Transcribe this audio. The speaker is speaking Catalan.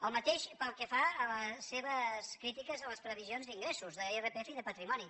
el mateix pel que fa a les seves crítiques a les previsions d’ingressos d’irpf i de patrimoni